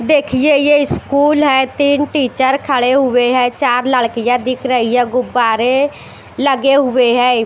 देखिए ये स्कूल है तीन टीचर खड़े हुए हैं चार लड़कियां दिख रही है गुब्बारे लगे हुए हैं।